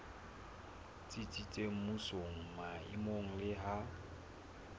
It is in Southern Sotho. tsitsitseng mmusong maemong le ha